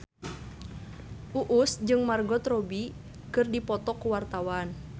Uus jeung Margot Robbie keur dipoto ku wartawan